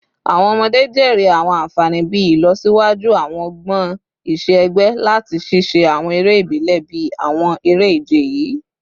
Awọn ọmọde jèrè awọn anfani bii ilọsiwaju awọn ọgbọn iṣẹ-ẹgbẹ lati ṣiṣe awọn ere ibile bii awọn ere-ije yii